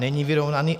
Není vyrovnaný.